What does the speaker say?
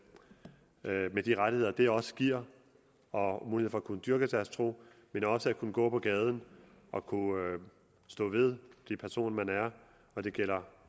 med de rettigheder det også giver og mulighed for at kunne dyrke deres tro men også at kunne gå på gaden og kunne stå ved den person man er og det gælder